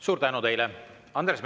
Suur tänu teile!